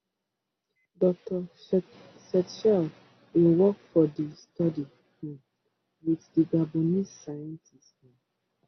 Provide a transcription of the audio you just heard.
dr setchell bin work for di study um wit di gabonese scientists um